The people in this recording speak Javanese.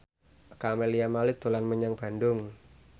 Camelia Malik dolan menyang Bandung